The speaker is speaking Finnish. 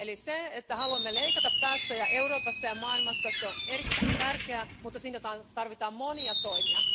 Eli se, että haluamme leikata päästöjä Euroopassa ja maailmassa, on erittäin tärkeää, mutta siinä tarvitaan monia toimia.